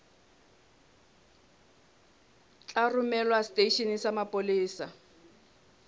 tla romelwa seteisheneng sa mapolesa